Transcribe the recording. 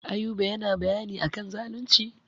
Ayuba yana bayani a kan zalunci.